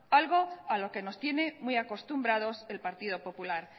algo a lo que nos tiene muy acostumbrados el partido popular